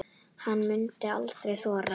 Hún mundi aldrei þora.